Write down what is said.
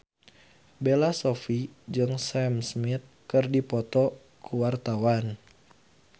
Bella Shofie jeung Sam Smith keur dipoto ku wartawan